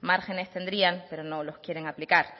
márgenes tendrían pero no lo quieren aplicar